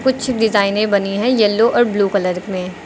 कुछ डिजाइने बनी है येलो और ब्लू कलर में।